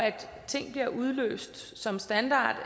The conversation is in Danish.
ting bliver udløst som standard